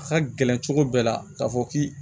A ka gɛlɛn cogo bɛɛ la k'a fɔ k'i